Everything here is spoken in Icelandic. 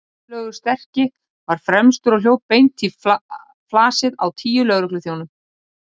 Gunnlaugur sterki var fremstur og hljóp beint í flasið á tíu lögregluþjónum.